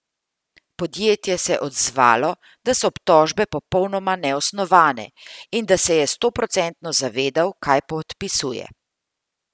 Podjetje se je odzvalo, da so obtožbe popolnoma neosnovane in da se je stoprocentno zavedal, kaj podpisuje.